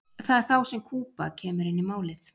það er þá sem kúba kemur inn í málið